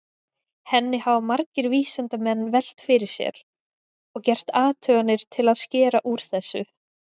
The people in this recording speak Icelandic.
Henni hafa margir vísindamenn velt fyrir sér og gert athuganir til að skera úr þessu.